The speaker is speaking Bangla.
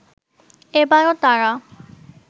এবারও তারা